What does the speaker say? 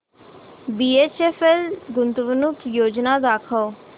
BHEL गुंतवणूक योजना दाखव